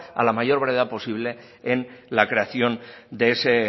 a la mayor brevedad posible en la creación de ese